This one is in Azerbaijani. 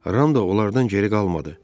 Ram da onlardan geri qalmadı.